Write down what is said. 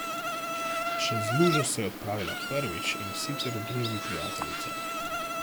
Čez lužo se je odpravila prvič, in sicer v družbi prijateljice.